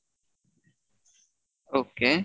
okay